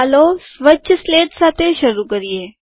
ચાલો સ્વચ્છ સ્લેટ સાથે શરૂ કરીએ